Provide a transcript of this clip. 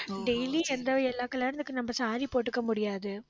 daily எந்த எல்லா கல்யாணத்துக்கும், நம்ம saree போட்டுக்க முடியாது.